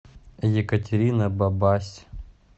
екатерина бабась